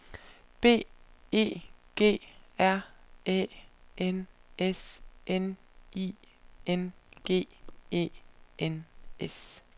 B E G R Æ N S N I N G E N S